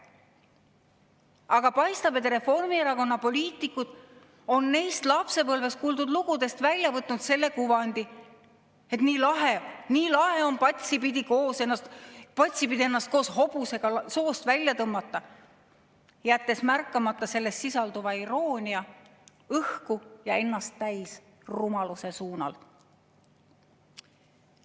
Aga paistab, et Reformierakonna poliitikud on neist lapsepõlves kuuldud lugudest välja võtnud kuvandi, et nii lahe on patsipidi ennast koos hobusega soost välja tõmmata, jättes märkamata sisalduva iroonia õhku ja ennast täis rumaluse.